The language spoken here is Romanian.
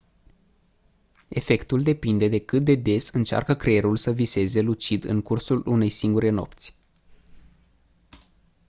efectul depinde de cât de des încearcă creierul să viseze lucid în cursul unei singure nopți